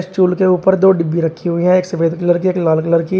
Stool के ऊपर दो डिब्बी रखी हुई है एक सफेद कलर की एक लाल कलर की।